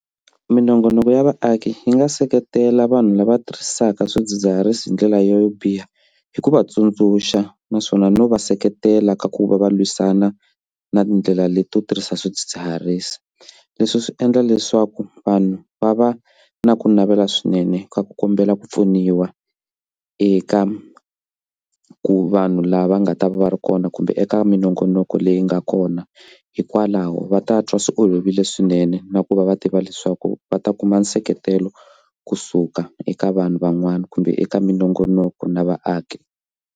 Minongonoko ya vaaki yi nga seketela vanhu lava tirhisaka swidzidziharisi hi ndlela yo biha hi ku va tsundzuxa naswona no va seketela ka ku va va lwisana na tindlela leti to tirhisa swidzidziharisi leswi swi endla leswaku vanhu va va na ku navela swinene ku kombela ku pfuniwa eka ku vanhu lava nga ta va ri kona kumbe eka minongonoko leyi nga kona hi hikwalaho va ta twa swi olovile swinene na ku va va tiva leswaku va ta kuma nseketelo kusuka eka vanhu van'wana kumbe eka minongonoko na vaaki.